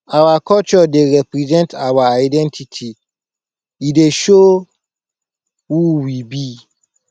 our culture dey represent our identity e dey show who we be